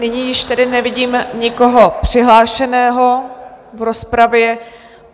Nyní již tedy nevidím nikoho přihlášeného v rozpravě.